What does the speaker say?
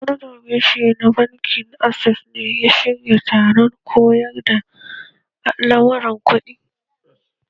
Manajan reshe na bankin access ne ya shirya taron koyar da lamuran kuɗi?